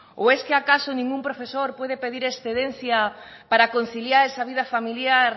o es que acaso ningún profesor puede pedir excedencia para conciliar esa vida familiar